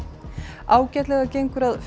ágætlega gengur að finna